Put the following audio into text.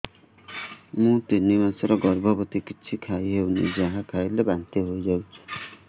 ମୁଁ ତିନି ମାସର ଗର୍ଭବତୀ କିଛି ଖାଇ ହେଉନି ଯାହା ଖାଇଲେ ବାନ୍ତି ହୋଇଯାଉଛି